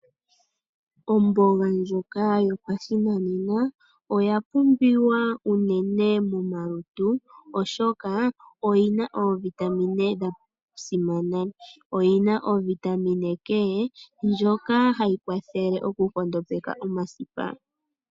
Omboga ndjoka yopashinanena oya pumbiwa unene momalutu, oshoka oyina iitungithilutu yasimana mbyoka yimwe yomuyo hayi kwathele okunkondopeka omasipa